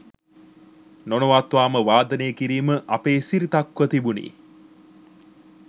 නොනවත්වාම වාදනය කිරීම අපේ සිරිතක්ව තිබුණි.